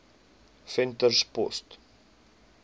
venterspost